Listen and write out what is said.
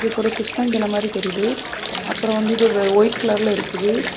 இதுக்கு ஒரு கிருஷ்ண கணம் மாதிரி தெரியுது. அப்புறம் வந்து இது ஒயிட் கலர்ல இருக்குது.